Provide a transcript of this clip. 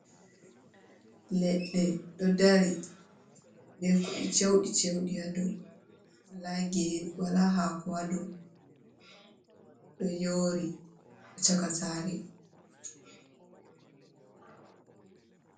Leɗɗe ɗo ɗari be kuɗe cewɗi cewɗi ha ɗow. Wala gere wala hako ha ɗow do yori chaka sare.